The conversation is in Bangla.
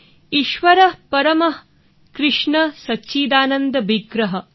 ঈশ্বর পরমঃ কৃষ্ণ ঃ সচ্চিদানন্দ বিগ্রহঃ